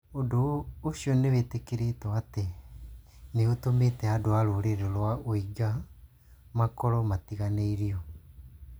Ũndũ ũcio nĩ wĩtĩkĩrĩtwo atĩ nĩ ũtũmĩte andũ a rũrĩrĩ rwa Uighur makorũo matiganĩrio.